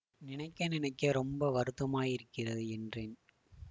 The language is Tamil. நினைக்க நினைக்க ரொம்ப வருத்தமாயிருக்கிறது என்றேன்